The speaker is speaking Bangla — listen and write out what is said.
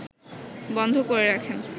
বন্ধ করে রাখেন